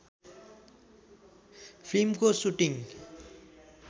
फिल्मको सुटिङ